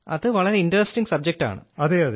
അത് വളരെ ഇന്ററസ്റ്റിംഗ് സബ്ജക്ടാണ്